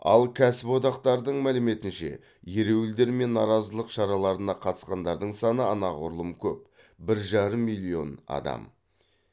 ал кәсіподақтардың мәліметінше ереуілдер мен наразылық шараларына қатысқандардың саны анағұрлым көп бір жарым миллион адам